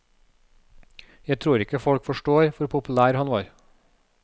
Jeg tror ikke folk forstår hvor populær han var.